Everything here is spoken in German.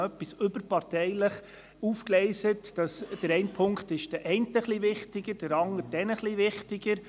Wird etwas parteiübergreifend aufgegleist, ist der eine Punkt den einen etwas wichtiger und der andere Punkt den anderen etwas wichtiger.